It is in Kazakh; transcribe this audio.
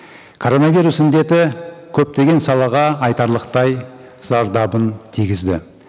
коронавирус індеті көптеген салаға айтарлықтай зардабын тигізді